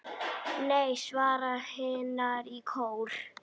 Nei, svara hinar í kór.